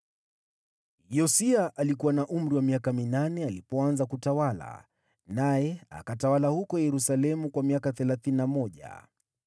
Yosia alikuwa na miaka minane alipoanza kutawala, naye akatawala huko Yerusalemu miaka thelathini na mmoja.